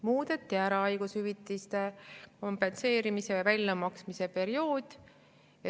Muudeti ära haigus kompenseerimise ja hüvitise väljamaksmise periood.